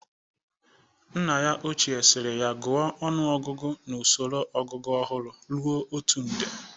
Nna ya ochie siri ya gụọ ọnụọgụgụ n'usoro ọgụgụ ọhụrụ rue otu nde